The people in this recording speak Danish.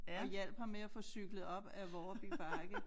Og hjalp ham med at få cyklet op ad Vårby Bakke